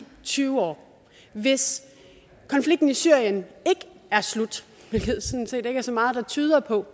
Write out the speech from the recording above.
tyve år hvis konflikten i syrien ikke er slut hvilket der sådan set ikke er så meget der tyder på